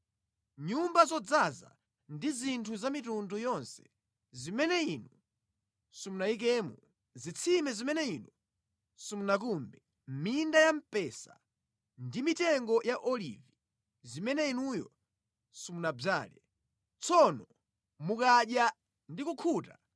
nyumba zodzaza ndi zinthu za mitundu yonse zimene inu simunayikemo, zitsime zimene inu simunakumbe, minda ya mpesa ndi mitengo ya olivi zimene inuyo simunadzale, tsono mukadya ndi kukhuta,